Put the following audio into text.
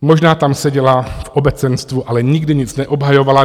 Možná tam seděla v obecenstvu, ale nikdy nic neobhajovala.